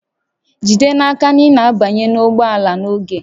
Jide n'aka na ị na-abanye ụgbọ ala n'oge